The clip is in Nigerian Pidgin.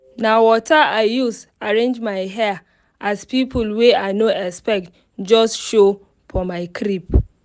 na water i use arrange my hair as people wey i no expect just show for my crib.